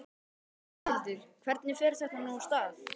Þórhildur, hvernig fer þetta nú af stað?